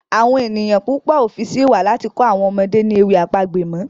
Awọn ènìyàn púpọ o fí sí ìwà láti kọ àwọn ọmọdé ni ewì àpagbè mọ.